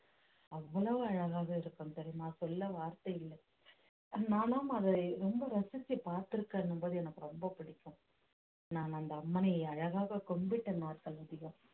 அவ்வளவு அழகாக இருக்கும் தெரியுமா சொல்ல வார்த்தை இல்லை நானும் அதை ரொம்ப ரசிச்சு பார்த்திருக்கேன் என்னும் போது எனக்கு ரொம்ப பிடிக்கும் நான் அந்த அம்மனை அழகாக கும்பிட்ட நாட்கள் அதிகம்